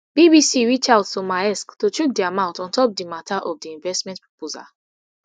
bbc reach out to maersk to chook dia mouth on top di mata of di investment proposal